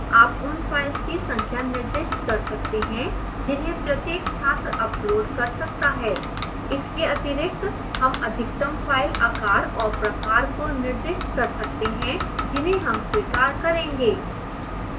आप उन files की संख्या निर्दिष्ट कर सकते हैं जिन्हें प्रत्येक छात्र upload कर सकता है इसके अतिरिक्त हम अधिकतम फ़ाइल आकार और प्रकार को निर्दिष्ट कर सकते हैं जिन्हें हम स्वीकार करेंगे